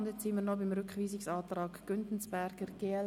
Wir kommen noch zum Rückweisungsantrag Güntensperger/glp.